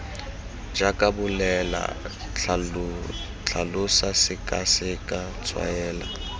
jaaka bolela tlhalosa sekaseka tshwaela